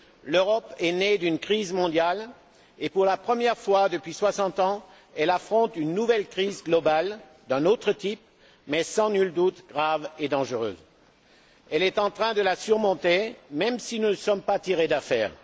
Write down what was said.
L'Europe est née d'une crise mondiale et, pour la première fois depuis 60 ans, elle affronte une nouvelle crise globale d'un autre type mais, sans nul doute, grave et dangereuse. Elle est en train de la surmonter, même si nous ne sommes pas encore tirés d'affaire.